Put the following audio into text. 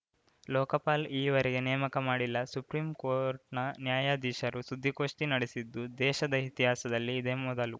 ಲೋಕ ಪಾಲ್‌ ಈವರೆಗೆ ನೇಮಕ ಮಾಡಿಲ್ಲ ಸುಪ್ರೀಂ ಕೋರ್ಟ್‌ನ ನ್ಯಾಯಾಧೀಶರು ಸುದ್ದಿಗೋಷ್ಠಿ ನಡೆಸಿದ್ದು ದೇಶದ ಇತಿಹಾಸದಲ್ಲಿ ಇದೇ ಮೊದಲು